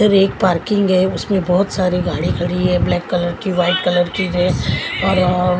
एक पार्किंग है उसमें बहुत सारी गाड़ी खड़ी है ब्लैक कलर की वाइट कलर की ड्रेस और वह--